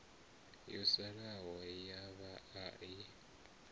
yo salaho ya vhaa i